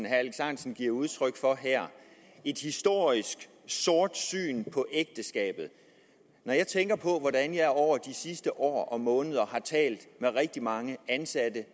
alex ahrendtsen giver udtryk for her er et historisk sortsyn på ægteskabet når jeg tænker på hvordan jeg over de sidste år og måneder har talt med rigtig mange ansatte det